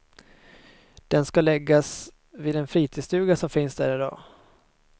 Den ska läggas vid den fritidsstuga som finns där idag.